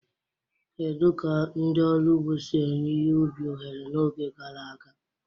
Kedu ka ndị ọrụ ugbo si enye ihe ubi ohere n'oge gara aga?